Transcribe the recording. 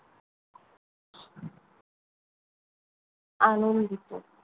আনন্দিত।